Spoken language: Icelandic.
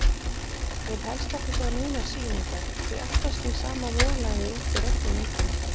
Vil helst ekki sjá neinar sýningar, því alltaf skín sama volæðið út úr öllum myndunum.